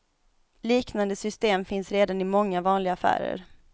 Liknande system finns redan i många vanliga affärer.